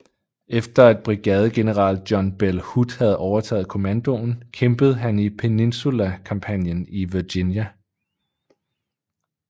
Efter at brigadegeneral John Bell Hood havde overtaget kommandoen kæmpede han i Peninsula kampagnen i Virginia